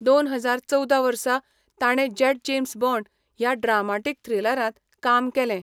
दोन हजार चवदा वर्सा, ताणें जॅट जेम्स बॉण्ड ह्या ड्रामाटीक थ्रिलरांत काम केलें.